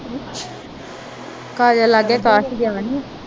ਕਾਜਲ ਆ ਕੇ